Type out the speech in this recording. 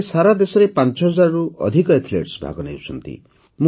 ଏଥିରେ ସାରାଦେଶର ପାଞ୍ଚହଜାରରୁ ଅଧିକ ଆଥଲେଟ ଭାଗ ନେଉଛନ୍ତି